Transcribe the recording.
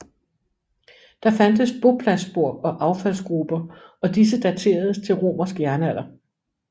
Der fandtes bopladsspor og affaldsgruber og disse dateredes til romersk jernalder